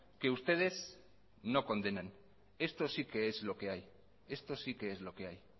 que ustedes no condenan esto sí que es lo que hay esto sí que es lo que hay